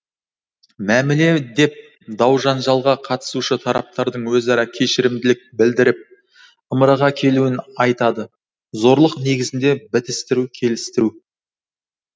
мәміле деп даужанжалға қатысушы тараптардың өзара кешірімділік білдіріп ымыраға келуін айтады зорлық негізінде бітістіру келістіру